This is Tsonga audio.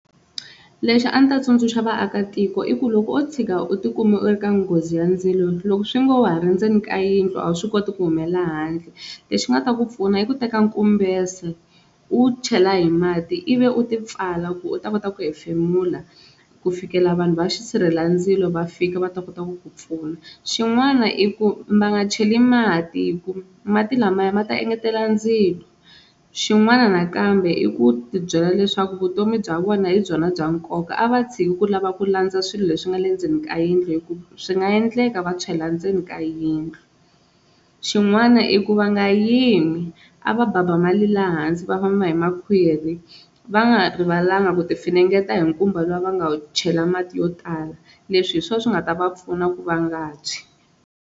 Lexi a ndzi ta tsundzuxa vaakatiko i ku loko o tshika u tikuma u ri ka nghozi ya ndzilo loko swi ngo ha ri ndzeni ka yindlu a wu swi koti ku humelela handle lexi nga ta ku pfuna i ku teka nkumbese u wu chela hi mati ivi u ti pfala ku u ta kota ku hefemula ku fikela vanhu va xi sirhelandzilo va fika va ta kota ku ku pfuna, xin'wana i ku va nga cheli mati hi ku mati lamaya ma ta engetela ndzilo xin'wana nakambe i ku tibyela leswaku vutomi bya vona hi byona bya nkoka a va tshiki ku lava ku landza swilo leswi nga le ndzeni ka yindlu hi ku swi nga endleka va tshwela ndzeni ka yindlu, xin'wana i ku va nga yimi a va babamali laha hansi va famba hi makhwiri va nga rivalanga ku tifinengeta hi nkumba luwa va nga wu chela mati yo tala, leswi hi swona swi nga ta va pfuna ku va nga tshwi.